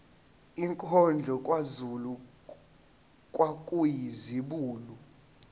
inkondlo kazulu kwakuyizibulo